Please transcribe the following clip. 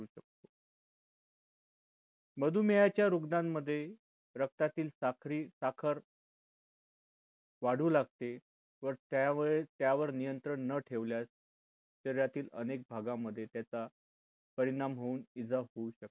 मधुमेहाच्या रुग्णांमध्ये रक्तातील साक्री साखर वाढू लागते व त्यावेळेस त्यावर नियंत्रण न ठेवल्यास शरीरातील अनेक भागांमध्ये त्याचा परिणाम होऊन इजा होऊ शकते.